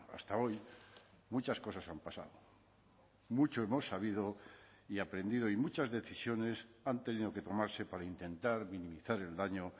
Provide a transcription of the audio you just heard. hasta hoy muchas cosas han pasado mucho hemos sabido y aprendido y muchas decisiones han tenido que tomarse para intentar minimizar el daño